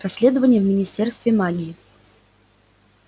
расследование в министерстве магии